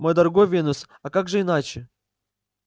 мой дорогой венус а как же иначе